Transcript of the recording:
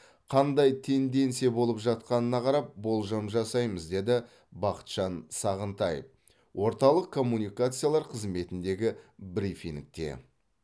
қандай тенденция болып жатқанына қарап болжам жасаймыз деді бақытжан сағынтаев орталық коммуникациялар қызметіндегі брифингте